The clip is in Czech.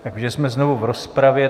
Takže jsme znovu v rozpravě.